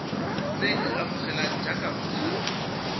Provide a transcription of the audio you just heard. tle a amogelwe jaaka motshabi